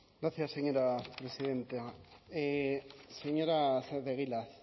gracias señora presidenta señora saez de egilaz